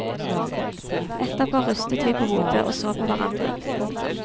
Etterpå rystet vi på hodet og så på hverandre. punktum